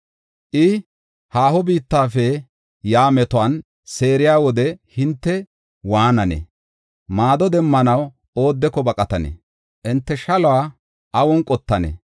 I, haaho biittafe yaa metuwan seeriya wode hinte waananee? Maado demmanaw oodeko baqatanee? Hinte shaluwa awun qottanee?